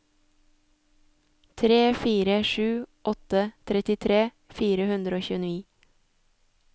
tre fire sju åtte trettitre fire hundre og tjueni